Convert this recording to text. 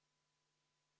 Lugupeetud minister!